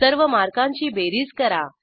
सर्व मार्कांची बेरीज करा